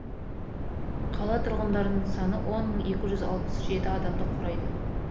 қала тұрғындарының саны он мың екі жүз алпыс жеті адамды құрайды